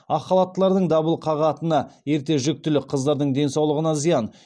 ақ халаттылардың дабыл қағатыны ерте жүктілік қыздардың денсаулығына зиян